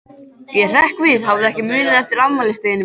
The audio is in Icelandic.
Ég hrekk við, hafði ekki munað eftir afmælisdeginum mínum.